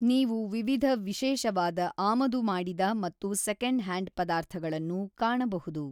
ನೀವು ವಿವಿಧ ವಿಶೇಷವಾದ ಆಮದು ಮಾಡಿದ ಮತ್ತು ಸೆಕೆಂಡ್ ಹ್ಯಾಂಡ್ ಪದಾರ್ಥಗಳನ್ನು ಕಾಣಬಹುದು.